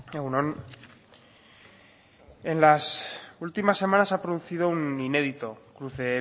egun on en las últimas semanas se ha producido un inédito cruce